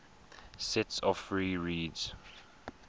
sets of free reeds